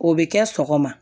O bɛ kɛ sɔgɔma